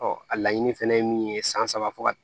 a laɲini fɛnɛ ye min ye san saba fo ka